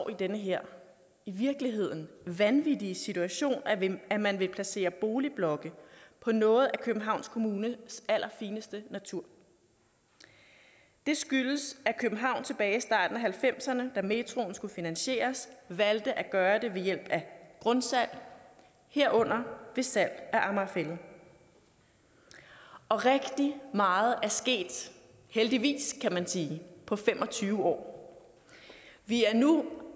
i den her i virkeligheden vanvittige situation at man vil placere boligblokke på noget af københavns kommunes allerfineste natur det skyldes at københavn tilbage i starten af nitten halvfemserne da metroen skulle finansieres valgte at gøre det ved hjælp af grundsalg herunder ved salg af amager fælled og rigtig meget er sket heldigvis kan man sige på fem og tyve år vi er nu